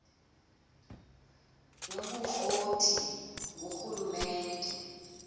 yobukro ti ngurhulumente